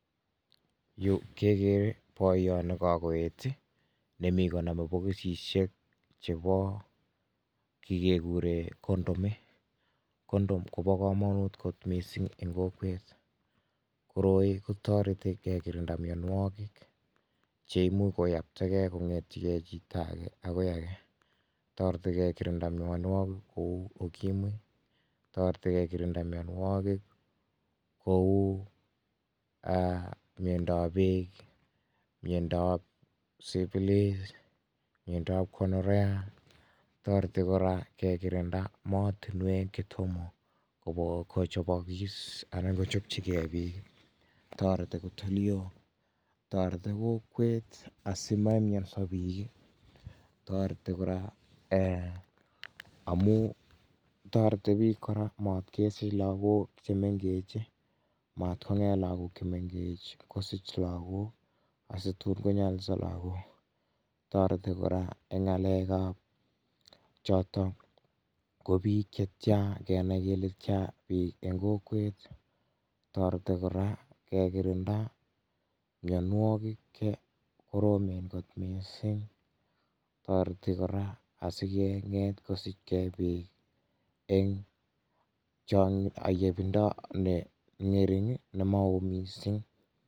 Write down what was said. Yu kegeere boiyot nekagoeet nemi koname pokisisiek chebo kii keguure condom condom kobo komonut kot mising eng' kokwet. Koroi kotoreti kekirinda myanwokik cheimuch koiyaptagei kong'ete chito age akoi age. Toreti kekirinda myanwokik kouu ukimwi tareti kekirinda kouu ee myondo ap peek, myondo ap syphilis , myondo ap gonorrhea toreti kora kekirinda mootunwek chetomo kochobokiis ana kochopchigei piik toreti kot olio toreti kokwet asima myonso piik toreti kora amu toreti piik kora matkesiich lagook chemengeech matkong'et lagook chemengech kosich lagook asituun konyalilso lagook toreti kora eng' ng'aleek ap chootok ko piik che tyaa kenai kele tyaa piik eng' kokwet toreti kora kekirinda mnyanwookik che koroomen kot mising toreti kora asikeng'et kesich keebit eng' cho ayebindo ne ng'ering' nemaoo miising'